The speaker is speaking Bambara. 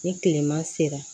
Ni kilema sera